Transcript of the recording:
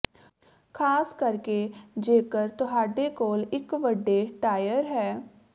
ਖ਼ਾਸ ਕਰਕੇ ਜੇਕਰ ਤੁਹਾਡੇ ਕੋਲ ਇੱਕ ਵੱਡੇ ਟਾਇਰ ਹੈ